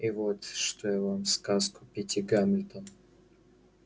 и вот что я вам сказку питти гамильтон